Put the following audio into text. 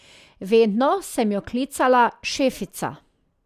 Vedno sem jo klicala Šefica.